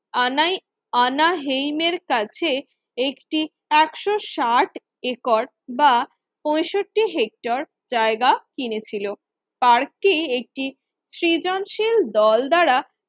আনাই অনাহিমের কাছে একটি একশো ষাট একর বা পঁয়ষট্টি হেক্টর জায়গা কিনেছিল। পার্কে একটি সৃজনশীল দল দ্বারা